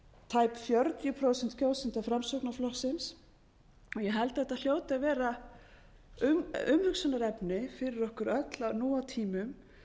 tæp fjörutíu prósent kjósenda framsóknarflokksins og ég held að þetta hljóti að vera umhugsunarefni fyrir okkur öll að nú á tímum